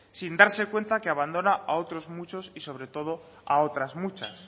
sin darse cuenta que abandona a otros muchos y sobre todo a otras muchas